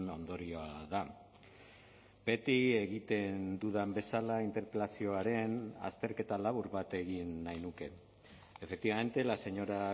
ondorioa da beti egiten dudan bezala interpelazioaren azterketa labur bat egin nahi nuke efectivamente la señora